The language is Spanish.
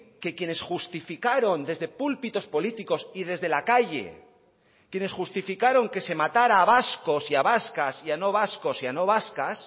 que quienes justificaron desde púlpitos políticos y desde la calle quienes justificaron que se matará a vascos y a vascas y a no vascos y a no vascas